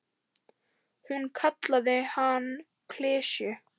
Hún kallaði hann klisju.